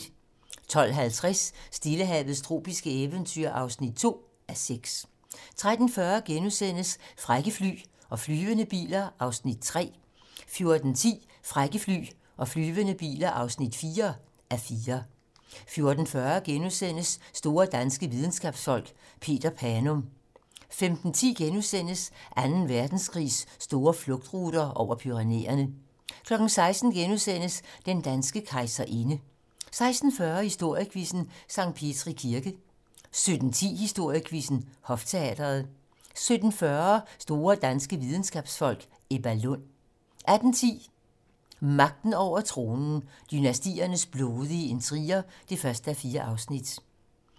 12:50: Stillehavets tropiske eventyr (2:6) 13:40: Frække fly og flyvende biler (3:4)* 14:10: Frække fly og flyvende biler (4:4) 14:40: Store danske videnskabsfolk: Peter Panum * 15:10: Anden Verdenskrigs store flugtruter - over Pyrenæerne * 16:00: Den danske kejserinde * 16:40: Historiequizzen: Sankt Petri Kirke 17:10: Historiequizzen: Hofteatret 17:40: Store danske videnskabsfolk: Ebba Lund 18:10: Magten over tronen - dynastiernes blodige intriger (1:4)